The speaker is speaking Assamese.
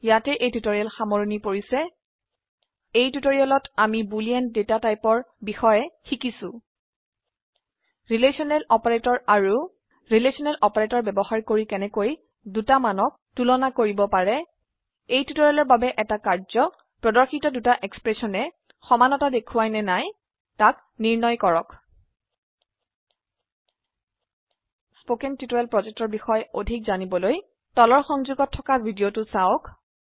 ইয়াতে এই টিউটৰীয়েল সামৰনি পৰিছে এই টিউটোৰিয়ালেত আমি বুলিন ডেটা টাইপৰ বিষয়ে শিকিছো ৰিলেশনেল অপাৰেটৰ আৰু ৰিলেশনেল অপাৰেটৰ বয়ৱহাৰ কৰি কেনেকৈ দুটা মানক তুলনি কৰিব পাৰে এই টিউটৰীয়েলৰ বাবে এটা কাৰ্যয প্ৰদৰ্শিত দুটা এক্সপ্ৰেশনে সমানতা দেখোৱায় নে নিৰ্ণয় কৰক 000923 000922 spoken টিউটৰিয়েল projectৰ বিষয়ে অধিক জানিবলৈ তলৰ সংযোগত থকা ভিডিঅ চাওক